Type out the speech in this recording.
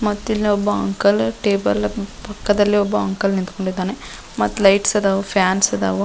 ಮತ್ತಿಲ್ಲಿ ಒಬ್ಬ uncle table ಪಕ್ಕದಲ್ಲಿ ಒಬ್ಬ ಅಂಕಲ್ ನಿಂತ್ಕೊಂಡಿದ್ದಾನೆ ಮತ್ತ್ ಲೈಟ್ಸ್ ಅದಾವು ಫ್ಯಾನ್ಸ್ ಅದಾವು.